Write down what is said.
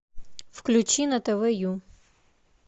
включи на тв ю